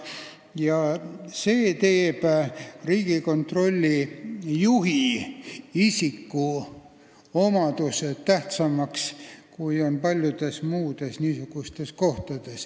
Ja see teeb Riigikontrolli juhi isikuomadused tähtsamaks kui paljude muude niisuguste ametnike omad.